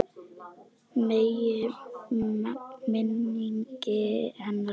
Megi minning hennar lifa.